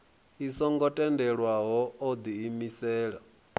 i songo tendelwaho o diimisela